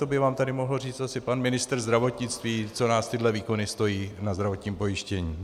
To by vám tady mohl říct asi pan ministr zdravotnictví, co nás tyhle výkony stojí na zdravotním pojištění.